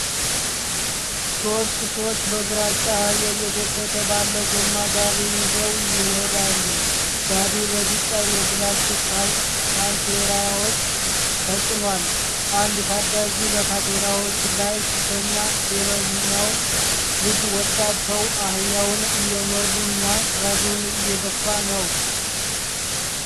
ሦስት ሰዎች በግራጫ አህያ እየተጎተተ ባለ ጎማ ጋሪ ይዘው ይሄዳሉ። ጋሪው በቢጫ የፕላስቲክ ካንቴራዎች ተጭኗል። አንድ ታዳጊ በካንቴራዎቹ ላይ ሲተኛ ሌላኛው ልጅና ወጣት ሰው አህያውን እየመሩና ጋሪውን እየገፉ ነው።